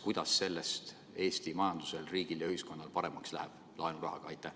Kuidas sellest Eesti majandusel, riigil ja ühiskonnal paremaks läheb – laenurahaga?